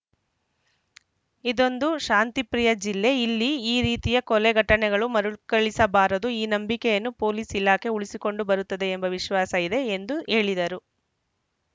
ಇದೊಂದು ಶಾಂತಿಪ್ರಿಯ ಜಿಲ್ಲೆ ಇಲ್ಲಿ ಈ ರೀತಿಯ ಕೊಲೆ ಘಟನೆಗಳು ಮರುಳ್ ಕಳಿಸಬಾರದು ಈ ನಂಬಿಕೆಯನ್ನು ಪೊಲೀಸ್‌ ಇಲಾಖೆ ಉಳಿಸಿಕೊಂಡು ಬರುತ್ತದೆ ಎಂಬ ವಿಶ್ವಾಸ ಇದೆ ಎಂದು ಹೇಳಿದರು